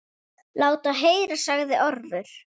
Lát heyra, sagði Ormur.